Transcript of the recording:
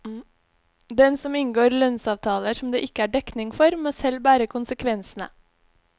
Den som inngår lønnsavtaler som det ikke er dekning for, må selv bære konsekvensene.